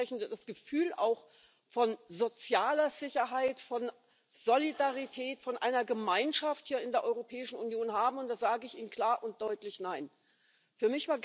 machen. Sonst werden wir nämlich auch kaum noch Wähler und Wählerinnen gewinnen, die bereit sind, diese Lethargie nämlich um Europa zu kämpfen